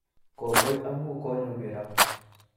Kongoi amu konyogero